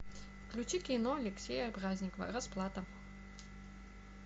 включи кино алексея праздникова расплата